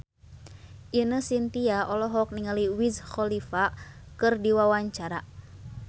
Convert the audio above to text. Ine Shintya olohok ningali Wiz Khalifa keur diwawancara